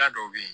Da dɔw be yen